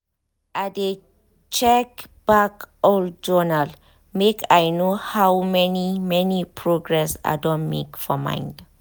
i de check back old journal make i know how many many progress i don make for mind.